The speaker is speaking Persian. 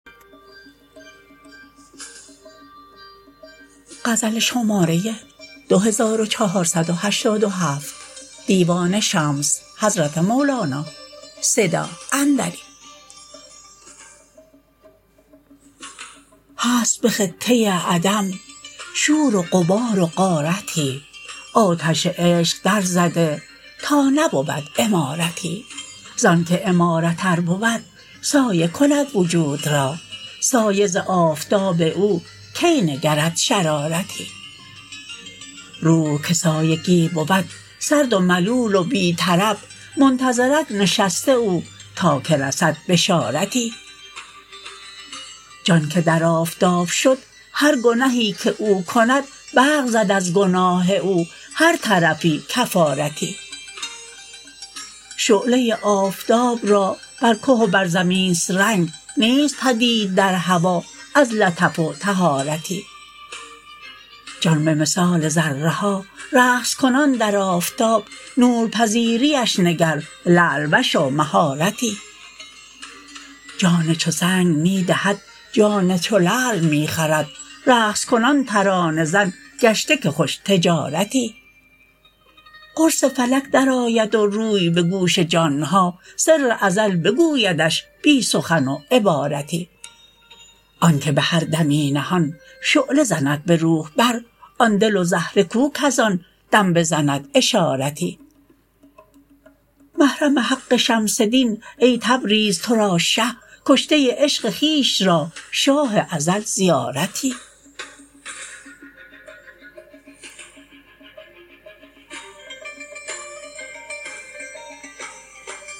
هست به خطه عدم شور و غبار و غارتی آتش عشق درزده تا نبود عمارتی ز آنک عمارت ار بود سایه کند وجود را سایه ز آفتاب او کی نگرد شرارتی روح که سایگی بود سرد و ملول و بی طرب منتظرک نشسته او تا که رسد بشارتی جان که در آفتاب شد هر گنهی که او کند برق زد از گناه او هر طرفی کفارتی شعله آفتاب را بر که و بر زمین است رنگ نیست بدید در هوا از لطف و طهارتی جان به مثال ذره ها رقص کنان در آفتاب نورپذیریش نگر لعل وش و مهارتی جان چو سنگ می دهد جان چو لعل می خرد رقص کنان ترانه زن گشته که خوش تجارتی قرص فلک درآید و روی به گوش جان ها سر ازل بگویدش بی سخن و عبارتی آنک به هر دمی نهان شعله زند به روح بر آن دل و زهره کو کز آن دم بزند اشارتی محرم حق شمس دین ای تبریز را تو شه کشته عشق خویش را شاه ازل زیارتی